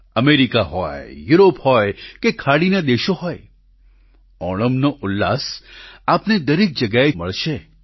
America હોય Europe હોય કે ખાડીનાં દેશો હોય ઓણમનો ઉલ્લાસ આપને દરેક જગ્યાએ મળશે